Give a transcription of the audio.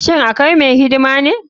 Shin akai mai hidima ne.